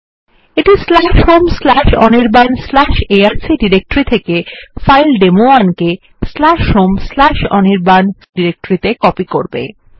এইটি home Anirban arc ডিরেক্টরির থেকে file ডেমো1 home অনির্বাণ এআরসি ডিরেক্টরিত়ে কপি করবে